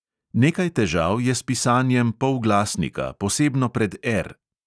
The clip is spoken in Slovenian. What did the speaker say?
Nekaj težav je s pisanjem polglasnika, posebno pred R.